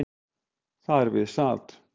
Þar við sat